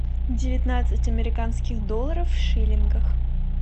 девятнадцать американских долларов в шиллингах